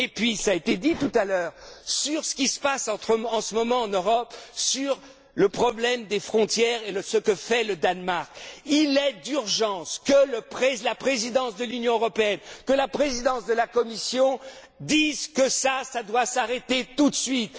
Et puis, ça a été dit, tout à l'heure, sur ce qui se passe en ce moment en Europe sur le problème des frontières et ce que fait le Danemark. Il est urgent que la présidence de l'Union européenne, que la présidence de la Commission, dise que ça, tout cela, doit s'arrêter tout